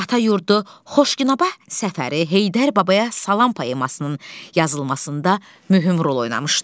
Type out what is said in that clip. Atayurdu Xoşgünəbəh səfəri, Heydər babaya salam poemasının yazılmasında mühüm rol oynamışdı.